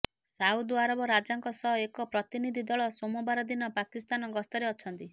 Saudi Arab ରାଜାଙ୍କ ସହ ଏକ ପ୍ରତିନିଧି ଦଳ ସୋମବାର ଦିନ ପାକିସ୍ତାନ ଗସ୍ତରେ ଅଛନ୍ତି